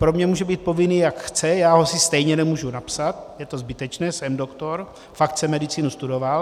Pro mě může být povinný, jak chce, já si ho stejně nemůžu napsat, je to zbytečné, jsem doktor, fakt jsem medicínu studoval.